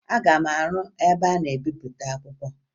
Aga m arụ ụlọ ebe a na-ebepụta akwụkwọ